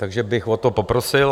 Takže bych o to poprosil.